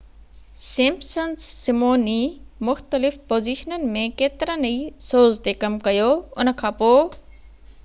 Simpson's سمون ي مختلف پوزيشنن ۾ ڪيترن ئي سوز تي ڪم ڪيو ان کان پوءِ